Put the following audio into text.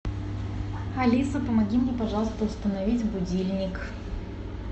алиса помоги мне пожалуйста установить будильник